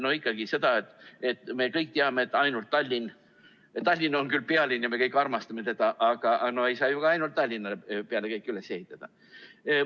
No ikkagi see, nagu me kõik teame, et Tallinn on küll pealinn ja me kõik armastame teda, aga ei saa ju ka ainult Tallinna peale kõike üles ehitada.